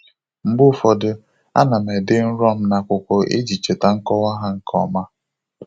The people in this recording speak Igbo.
Mgbe ụfọdụ, a na m ede nrọ m n'akwụkwọ iji cheta nkọwa ha nke ọma.